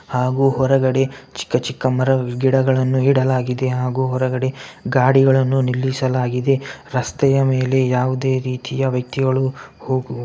ಹಾಗು ಹೊರಗಡೆ ಚಿಕ್ಕ ಚಿಕ್ಕ ಮರ ಗಿಡಗಳನ್ನು ಇಡಲಾಗಿದೆ ಹಾಗು ಹೊರಗಡೆ ಗಾಡಿಗಳನ್ನು ನಿಲ್ಲಿಸಲಾಗಿದೆ ರಸ್ತೆಯ ಮೇಲೆ ಯಾವುದೇ ರೀತಿಯ ವ್ಯಕ್ತಿಗಳು ಹೋಗು --